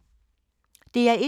DR1